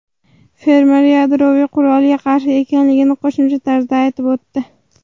Fermer yadroviy qurolga qarshi ekanligini qo‘shimcha tarzda aytib o‘tdi.